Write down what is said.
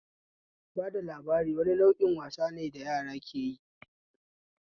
Bada labari wani nau'in wasane da yara keyi